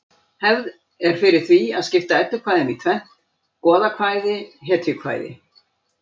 Hefð er fyrir því að skipta eddukvæðum í tvennt: goðakvæði hetjukvæði